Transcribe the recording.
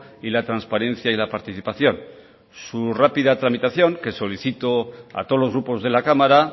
y la transparencia y la participación su rápida tramitación que solicito a todos los grupos de la cámara